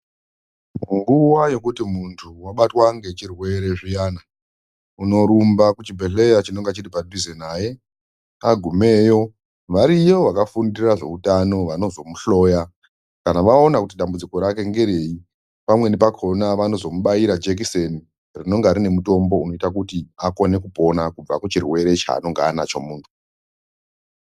Nguwa yekuti muntu wabatwa ngechirwere zviyana, unorumba kuchibhedhleya chinenge chiri padhuze naye. Agumeyo variyo vakafundira zveutano vanozomuhloya. Kana vaona kuti dambudziko rake ngereyi, pamweni pakona vanozomubaira jekiseni rinenge rine mutombo unoita kuti akone kupona kubva kuchirwere chaanonga anacho muntu.